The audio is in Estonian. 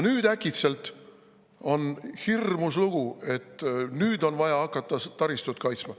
Aga äkitselt on hirmus lugu: nüüd on vaja hakata taristut kaitsma.